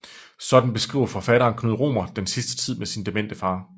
Sådan beskriver forfatteren Knud Romer den sidste tid med sin demente far